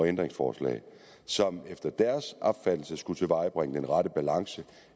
ændringsforslag som efter deres opfattelse skulle tilvejebringe den rette balance